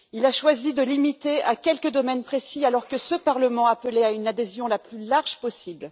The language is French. Il a choisi de la limiter à quelques domaines précis, alors que ce Parlement appelait à une adhésion la plus large possible.